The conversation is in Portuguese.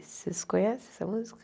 Vocês conhecem essa música?